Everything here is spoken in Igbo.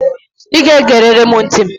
I ga-egerịrị m ntị